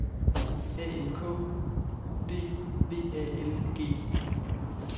A N K E U D V A L G